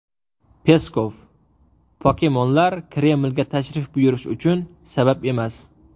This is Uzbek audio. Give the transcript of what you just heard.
Peskov: Pokemonlar Kremlga tashrif buyurish uchun sabab emas.